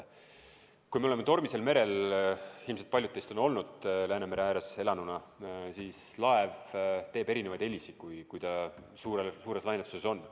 Kui me oleme tormisel merel – ilmselt paljud teist on Läänemere ääres elanuna olnud –, siis laev teeb erinevaid helisid, kui ta suures lainetuses on.